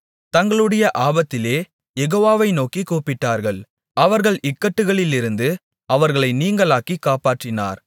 தங்களுடைய ஆபத்திலே யெகோவாவை நோக்கிக் கூப்பிட்டார்கள் அவர்கள் இக்கட்டுகளிலிருந்து அவர்களை நீங்கலாக்கிக் காப்பாற்றினார்